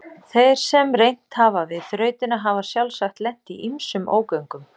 Þeir sem reynt hafa við þrautina hafa sjálfsagt lent í ýmsum ógöngum.